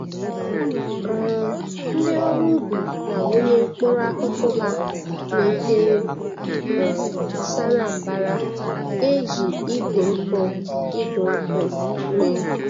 um Ndị ọrụ ubi na-awụnye mkpụrụ akụkụ ha n'ime efere um sara mbara e ji igu nkwụ igu nkwụ mee.